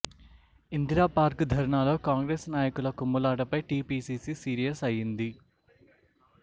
ఇందిరాపార్క్ ధర్నాలో కాంగ్రెస్ నాయకుల కుమ్ములాటపై టీ పీసీసీ సీరియస్ అయ్యింది